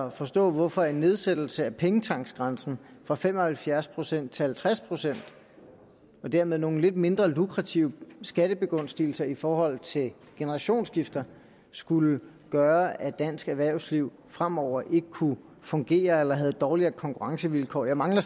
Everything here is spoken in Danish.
at forstå hvorfor en nedsættelse af pengetanksgrænsen fra fem og halvfjerds procent til halvtreds procent og dermed nogle mindre lukrative skattebegunstigelser i forhold til generationsskifter skulle gøre at dansk erhvervsliv fremover ikke kunne fungere eller havde dårligere konkurrencevilkår jeg mangler